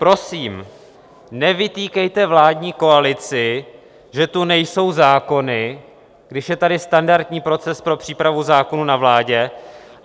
Prosím, nevytýkejte vládní koalici, že tu nejsou zákony, když je tady standardní proces pro přípravu zákonů na vládě.